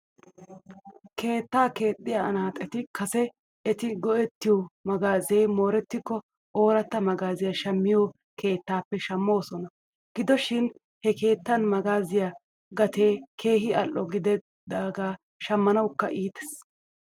Keetta keexxiyaa anaaxeti kase eti go'ettiyoo magaazee moorettikko ooratta magaaziyaa shammiyoo keetaappe shamoosonan. Gido shin he keettan magaaziyaa gatee keehi al'o gedidaagan shammanawkka iites.